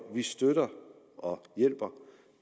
vi støtter og hjælper